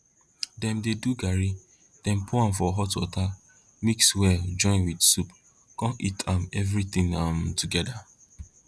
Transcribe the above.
dem dey do garri dem pour am for hot water mix well join with soup con eat am everything um together